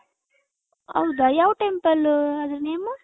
ಹೌದ ಯಾವ್ temple ಅದರ್ name ಊ ?